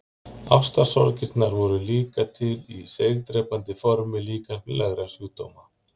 Ástarsorgirnar voru líka til í seigdrepandi formi líkamlegra sjúkdóma.